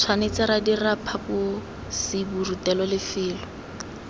tshwanetse ra dira phaposiborutelo lefelo